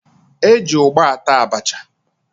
E ji ụgba ata abacha